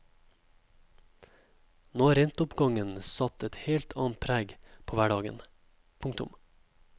Nå har renteoppgangen satt et helt annet preg på hverdagen. punktum